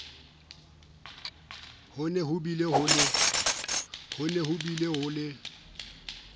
ho ne hobile ho le